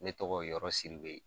Ne tɔgɔ ye YƆRƆ SIDIBE.